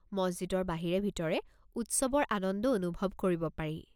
মছজিদৰ বাহিৰে-ভিতৰে উৎসৱৰ আনন্দ অনুভৱ কৰিব পাৰি।